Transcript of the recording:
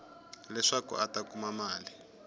leswaku a ta kuma mali